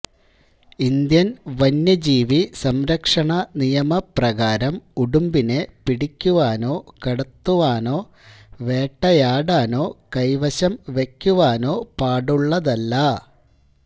Indian വന്യജീവിസംരക്ഷണ നിയമപ്രകാരം ഉടുമ്പിനെ പിടിക്കുവാനോ കടത്തുവാനോ വേട്ടയാടാനൊ കൈവശം വക്കുവാനോ പാടുള്ളതല്ല